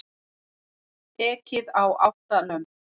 Ekið á átta lömb